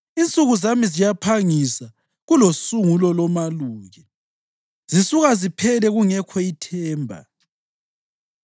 Insuku zami ziyaphangisa kulosungulo lomaluki, zisuka ziphele kungekho ithemba.